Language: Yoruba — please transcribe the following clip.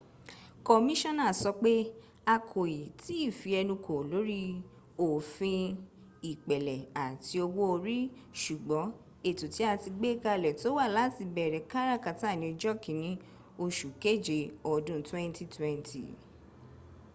kọmíṣánà sọ pé a kò ì tí ì fi ẹnu kò lórí òfin ìpẹ̀lẹ̀ àti owó orí ṣùgbọ́n ètò tí a ti gbé kalẹ̀ tó wa láti bẹ̀ẹ̀rẹ̀ káràkátà ní ọjọ́ kìíní oṣù kéje ọdún 2020”